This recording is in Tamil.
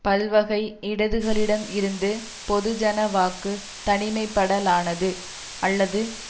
பல்வகை இடதுகளிடம் இருந்து பொதுஜன வாக்கு தனிமைப்படலானது அல்லது